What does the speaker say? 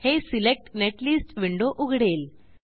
हे select netlist window उघडेल